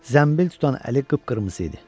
Zənbil tutan əli qıpqırmızı idi.